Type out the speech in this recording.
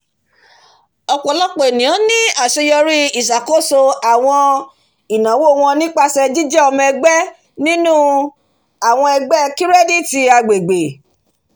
ọ̀pọ̀lọpọ̀ àwọn ènìyàn ní àṣeyọrí iṣakoso àwọn ináwó wọn nípasẹ̀ jíjẹ ọmọ ẹgbẹ́ nínú àwọn ẹgbẹ́ kirẹ́diti agbègbè